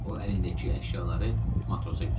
O əlindəki əşyaları matrosa göstərdi.